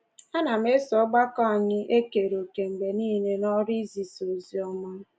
Anam eso ọgbakọ anyị ekere òkè mgbe nile n’ọrụ izisa ozi ọma.